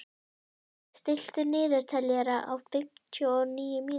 Systa, stilltu niðurteljara á fimmtíu og níu mínútur.